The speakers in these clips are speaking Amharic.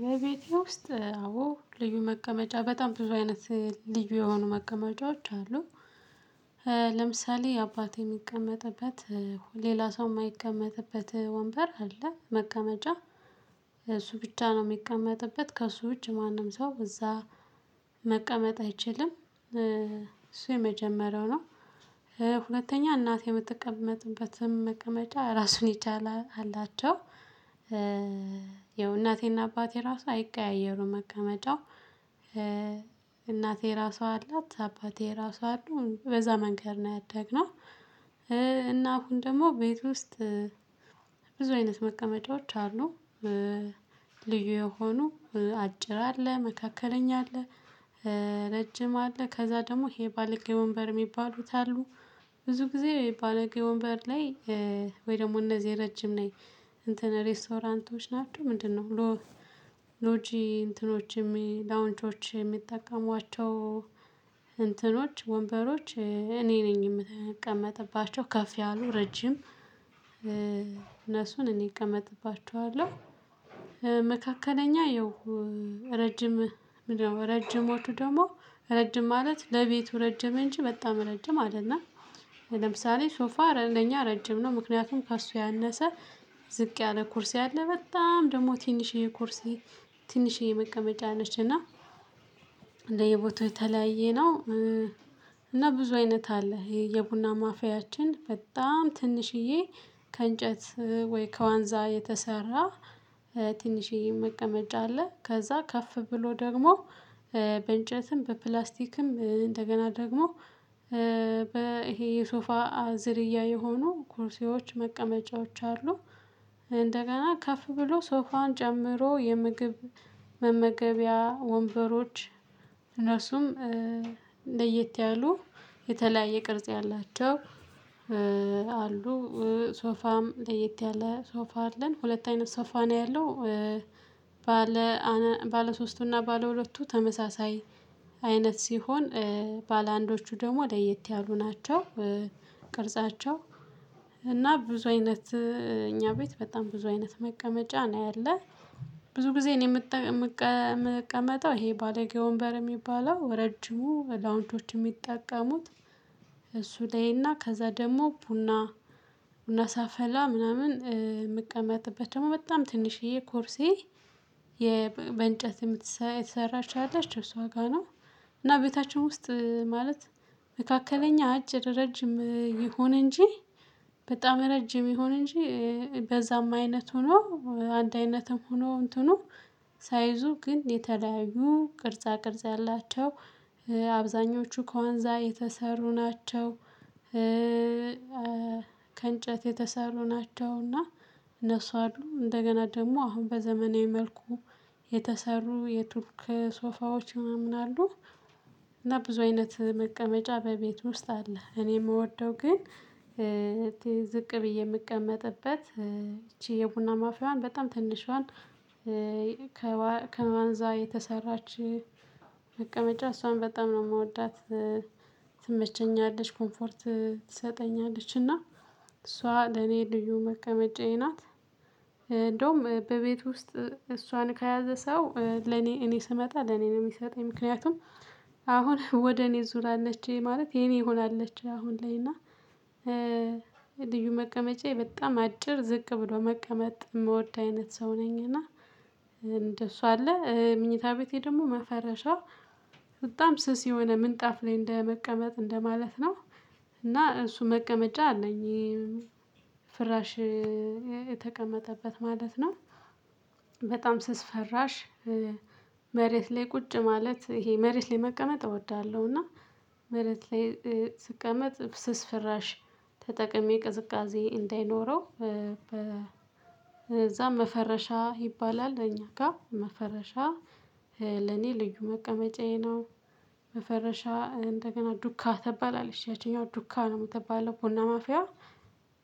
በቤቴ ውስጥ አዎ ልዩ መቀመጫ በጣም ብዙ አይነት ልዩ የሆኑ መቀመጫዎች አሉ። ለምሳሌ አባቴ የሚቀመጥበት ሌላ ሰው የማይቀመጥበት ወንበር አለ። መቀመጫ እሱ ብቻ ነው የሚቀመጥበት ከእሱ እጅ ማንም ሰው እዛ መቀመጥ አይችልም። እሱ የመጀመሪያው ነው። ሁለተኛ እናቴ የምትቀመጥበትን መቀመጫ ራሱን ይቻለ አላቸው። ያው እናቴና አባቴ ራሱ አይቀያየሩም መቀመጫው እናቴ የራሷ አላት አባቴ የራሱ አሉ በዛ መንገድ ነው ያደግነው። እና አሁን ደግሞ ቤት ውስጥ። ብዙ አይነት መቀመጫዎች አሉ። ልዩ የሆኑ አጭር አለ መካከለኛ አለ። ረጅም አለ ከዛ ደግሞ ይሄ ባለጌ ወንበር የሚባሉት አሉ። ብዙ ጊዜ ባለጌ ወንበር ላይ ወይ ደግሞ እነዚህ ረጅም ላይ እንትን ሬስቶራንቶች ናቸው ምንድነው? ሎ ሎጂ እንትኖችም ላውንቾች የሚጠቀሟቸው እንትኖች ወንበሮች እኔ ነኝ የምቀመጥባቸው ከፍ ያሉ ረጅም እነሱን እኔ እቀመጥባቸዋለሁ። መካከለኛ ይኸው ረጅም ምንድነው ረጅሞቹ ደግሞ ረጅም ማለት ለቤቱ ረጅም እንጂ በጣም እረጅም አይደለም። ለምሳሌ ሶፋ ለእነደኛ ረጅም ነው። ምክንያቱም ከእርሱ ያነሰ ዝቅ ያለ ኮርሲ አለ በጣም ደግሞ ትንሽዬ ኮርሲ። ትንሽዬ መቀመጫ ነች እና እንደ የቦታው የተለያየ ነው። እና ብዙ አይነት አለ የቡና ማፊያችን በጣም ትንሽዬ ከእንጨት ወይ ከዋንዛ የተሰራ ትንሽዬም መቀመጫ አለ። ከዛ ከፍ ብሎ ደግሞ በእንጨትም በፕላስቲክም እንደገና ደግሞ ይሄ የሶፋ ዝርያ የሆኑ ኩርሲዎች መቀመጫዎች አሉ። እንደገና ከፍ ብሎ ሶፋን ጨምሮ የምግብ መመገቢያ ወንበሮች እነሱም ለየት ያሉ የተለያየ ቅርጽ ያላቸው አሉ። ሶፋም ለየት ያለ ሶፋ አለን ሁለት አይነት ሶፋ ነው ያለው። ባለ ባለ ሶስቱና ባለ ሁለቱ ተመሳሳይ አይነት ሲሆን ባላአንዶቹ ደግሞ ለየት ያሉ ናቸው። ቅርጻቸው እና ብዙ አይነት እኛ ቤት በጣም ብዙ አይነት መቀመጫ ነው ያለው። ብዙ ጊዜ እኔ የምጠ የምቀመጠው ይሄ ባለጌ ወንበር የሚባለው ረጅሙ ላውንቾች የሚጠቀሙት እሱ ላይ እና ከዛ ደግሞ ቡና ቡና ሳፈላ ምናምን ምቀመጥበት ደግሞ በጣም ትንሽዬ ኮርሲ ባላአንዶቹ ደግሞ ለየት ያሉ ናቸው። እና ቤታችን ውስጥ ማለት መካከለኛ አጭር ረጅም ይሁን እንጂ በጣም ረጅም ይሁን እንጂ በዛም አይነት ሆኖ አንድ አይነትም ሆኖ እንትኑ ሳይዙ ግን የተለያዩ ቅርጻ ቅርጽ ያላቸው አብዛኞቹ ከዋንዛ የተሰሩ ናቸው። ከእንጨት የተሰሩ ናቸው እና እነሱ አሉ እንደገና ደግሞ አሁን በዘመናዊ መልኩ የተሰሩ የቱርክ ሶፋዎች ምናምን አሉ። እና ብዙ አይነት መቀመጫ በቤት ውስጥ አለ እኔ የምወደው ግን። ዝቅ ብዬ የምቀመጥበት ይቺ የቡና ማፍያዋን በጣም ትንሿን ከማንዛ የተሰራች መቀመጫ እሷን በጣም ነው የምወዳት። ትመቸኛለች ኮምፎርት ትሰጠኛለች እና እሷ ለኔ ልዩ መቀመጫዬ ናት። እንደውም በቤት ውስጥ እሷን ከያዘ ሰው ለኔ እኔ ስመጣ ለኔ ነው የሚሰጠኝ ምክንያቱም አሁን ወደ እኔ ዙር አለች ማለት የኔ ሆናለች። አሁን ላይ እና ልዩ መቀመጫዬ በጣም አጭር ዝቅ ብሎ መቀመጥ የምወድ አይነት ሰው ነኝ። እና አለ ምኝታ ቤቴ ደግሞ መፈረሻ በጣም ስስ የሆነ ምንጣፍ ላይ እንደመቀመጥ እንደማለት ነው። እና እሱ መቀመጫ አለኝ ፍራሽ የተቀመጠበት ማለት ነው። በጣም ስስ ፈራሽ መሬት ላይ ቁጭ ማለት ይሄ መሬት ላይ መቀመጥ እወዳለሁ። እና መሬት ላይ ስቀመጥ ስስ ፍራሽ ተጠቅሜ ቅዝቃዜ እንዳይኖረው በዛ መፈረሻ ይባላል እኛ ጋር መፈረሻ ለኔ ልዩ መቀመጫዬ ነው። መፈረሻ እንደገና ዱካ ትባላለች ያቺኛው ዱካ ነው የምትባለው ቡና ማፊያ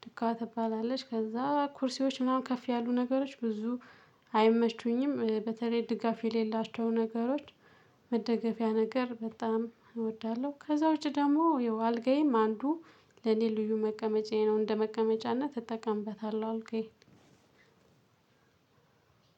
ዱካ ትባላለች። ከዛ ኩርሲዎች ምናምን ከፍ ያሉ ነገሮች ብዙ አይመቹኝም። በተለይ ድጋፍ የሌላቸው ነገሮች መደገፊያ ነገር በጣም እወዳለሁ። ከዛ ውጪ ደግሞ ይኸው አልጋዬም አንዱ ለኔ ልዩ መቀመጫዬ ነው። እንደ መቀመጫነት እጠቀምበታለህ አልጋዬን